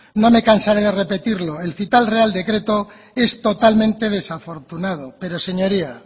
no me cansaré de repetirlo el real decreto es totalmente desafortunado pero señoría